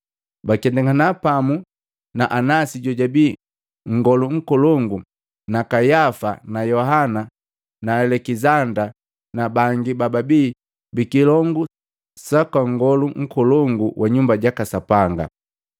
Baketangana pamu na Anasi jojabii nngolu nkolongu na Kayafa na Yohana na Alekizanda na bangi babi bikilongu saka nngolu nkolongu wa nyumba jaka Sapanga.